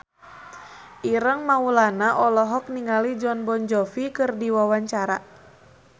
Ireng Maulana olohok ningali Jon Bon Jovi keur diwawancara